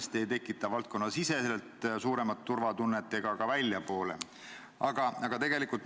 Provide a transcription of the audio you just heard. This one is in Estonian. See ei tekita kindlasti suuremat turvatunnet valdkonna sees ega ka väljaspool.